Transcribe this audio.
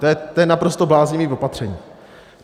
To je naprosto bláznivé opatření.